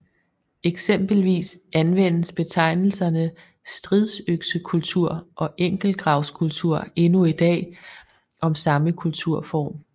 Eksempelvis anvendes betegnelserne stridsøksekultur og enkeltgravskultur endnu i dag om samme kulturform